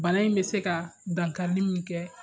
Balna in bɛ se ka dankarili min kɛ